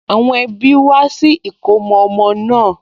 Àwọn ẹbí wá sí ìkómọ ọmọ náà